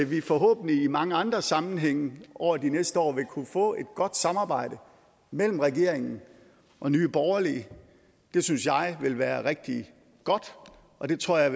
vi forhåbentlig i mange andre sammenhænge over de næste år vil kunne få et godt samarbejde mellem regeringen og nye borgerlige det synes jeg vil være rigtig godt og det tror jeg